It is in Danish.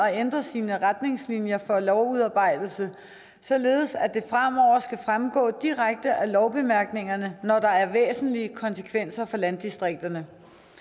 at ændre sine retningslinjer for lovudarbejdelse således at det fremover skal fremgå direkte af lovbemærkningerne når der er væsentlige konsekvenser for landdistrikterne